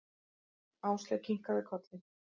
Áslaug kinkaði kolli.